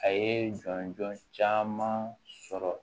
A ye jɔnjɔn caman sɔrɔ